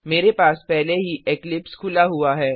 मेरे पास पहले ही इक्लिप्स खुला हुआ है